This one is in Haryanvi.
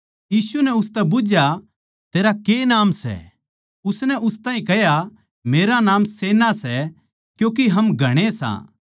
यीशु नै उसतै बुझ्झया तेरा के नाम सै उसनै उस ताहीं कह्या मेरा नाम सेना सै क्यूँके हम घणे सां